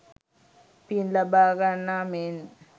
පින් ලබා ගන්නා මෙන්